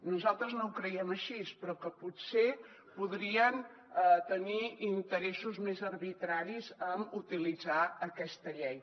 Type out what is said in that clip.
nosaltres no ho creiem així però potser podrien tenir interessos més arbitraris en utilitzar aquesta llei